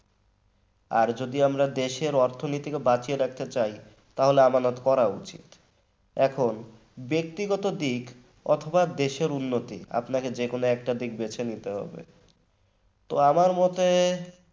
আর যদি আমরা দেশের অর্থনৈতিক বাঁচিয়ে রাখতে চাই তাহলে আমানত করা উচিত এখন ব্যক্তিগত দিক অথবা দেশের উন্নতি আপনাকে যে কোন একটা দিক বেছে নিতে হবে তো আমার মতে